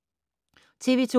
TV 2